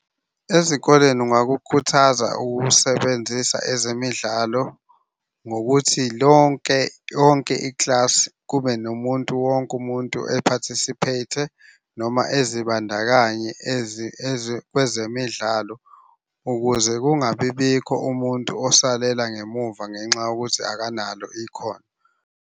Ezikoleni ungakukhuthaza ukusebenzisa ezemidlalo ngokuthi lonke yonke ikilasi kube nomuntu wonke umuntu e-participate-e noma ezibandakanye kwezemidlalo ukuze kungabi bikho umuntu osalela ngemuva ngenxa yokuthi akanalo ikhono.